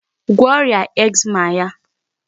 Gwọọ ọrịa eczema ya.